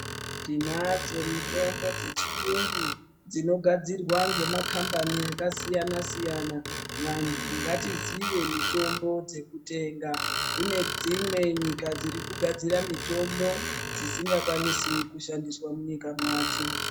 Tinadzo mitombo dzechiyungu dzinogadzirwa ngemakambani akasiyana siyana, vantu ngatizive mitombo dzekutenga kune dzimwe nyika dziri kugadzira mitombo dzisingakwanisi kushandiswa munyika madzo,